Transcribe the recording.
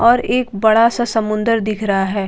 और एक बड़ा सा समुद्रर दिख रहा है जो--